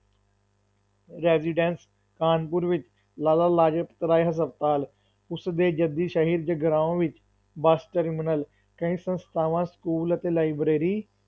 Residence Kanpur ਵਿੱਚ ਲਾਲਾ ਲਾਜਪਤ ਰਾਏ ਹਸਪਤਾਲ, ਉਸ ਦੇ ਜੱਦੀ ਸ਼ਹਿਰ ਜਗਰਾਓਂ ਵਿੱਚ ਬੱਸ terminal ਕਈ ਸੰਸਥਾਵਾਂ school ਅਤੇ library